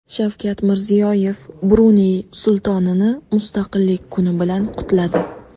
Shavkat Mirziyoyev Bruney Sultonini Mustaqillik kuni bilan qutladi.